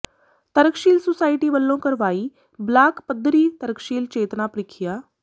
ਤਰਕਸ਼ੀਲ ਸੁਸਾਇਟੀ ਵਲੋਂ ਕਰਵਾਈ ਬਲਾਕ ਪੱਧਰੀ ਤਰਕਸ਼ੀਲ ਚੇਤਨਾ ਪ੍ਰੀਖਿਆ